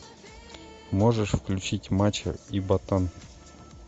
можешь включить мачо и ботан